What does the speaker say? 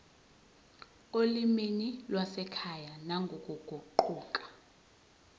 olimini lwasekhaya nangokuguquka